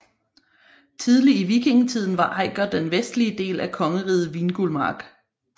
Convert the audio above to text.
Tidlig i vikingetiden var Eiker den vestlige del af kongeriget Vingulmark